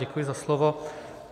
Děkuji za slovo.